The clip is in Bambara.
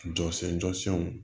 Jɔsen jɔsenw